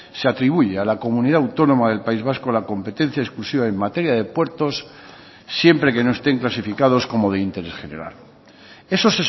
se atribuye a la comunidad autónoma del país vasco la competencia exclusiva en materia de puertos siempre que no estén clasificados como de interés general eso